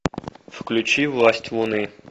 включи власть луны